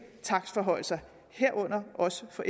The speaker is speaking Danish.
takstforhøjelser herunder også for